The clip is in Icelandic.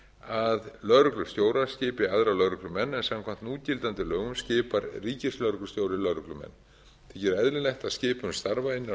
að lögreglustjórar skipi aðra lögreglumenn en samkvæmt núgildandi lögum skipar ríkislögreglustjóri l lögreglumenn því er eðlilegt að skipan starfa innan